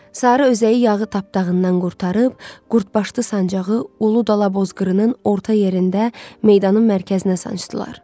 Sarı özəyi yağı tapdağından qurtarıb, qurdbaşdı sancağı Ulu Dala Bozqırının orta yerində meydanın mərkəzinə sancdılar.